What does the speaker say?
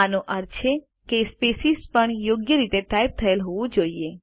આનો અર્થ છે કે સ્પેસીસ પણ યોગ્ય રીતે ટાઇપ થયેલ હોવું જોઈએ